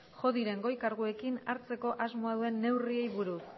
jo diren goi kargudunekin hartzeko asmoa duen neurriei buruz